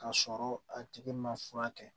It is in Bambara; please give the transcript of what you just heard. Ka sɔrɔ a tigi ma furakɛ